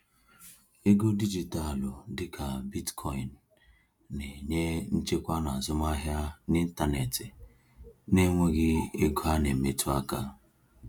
Ego dijitalụ dịka Bitcoin na-enye nchekwa n’azụmahịa n’ịntanetị na-enweghị ego a na-emetụ aka.